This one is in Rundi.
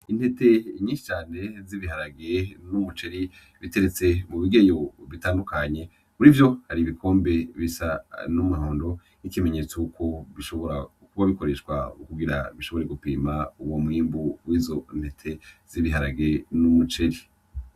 Intete nyinshi cane z'ibiharage n'umuceri biteretse mu bigeyo bitandukanye. Muri vyo, hari ibikombe bisa n'umuhondo nk'ikimbenyetso y'uko bishobora kuba bikoreshwa kugira bishobore gupima uwo mwimbu w'izo ntete z'ibiharage hamwe n'umuceri.